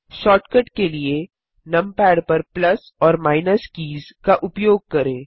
shortcut के लिए numpad पर प्लस और माइनस कीज़ का उपयोग करें